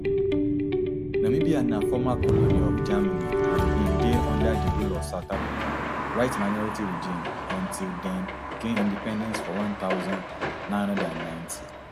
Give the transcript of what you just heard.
namibia na former colony of germany and bin dey under di rule of south africa whiteminority regime until dem gain independence for one thousand, nine hundred and ninety